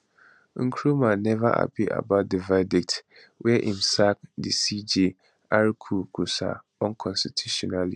nkrumah neva happy about di verdict wia im sack di cj arku korsah unconstitutionally